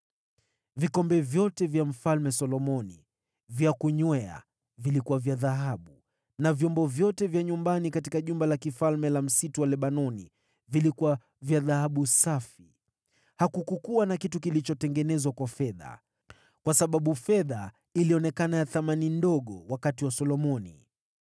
Vikombe vyote vya Mfalme Solomoni vya kunywea vilikuwa vya dhahabu na vyombo vyote vya nyumbani katika Jumba la Kifalme la Msitu wa Lebanoni vilikuwa vya dhahabu safi. Hakukuwa na kitu kilichotengenezwa kwa fedha, kwa sababu fedha ilionekana ya thamani ndogo wakati wa Solomoni.